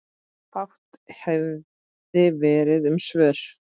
Fátt hefði verið um svör.